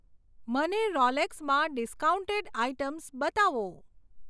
મને રોલેક્સમાં discounted items બતાવો.